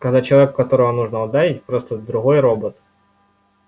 когда человек которого нужно ударить просто другой робот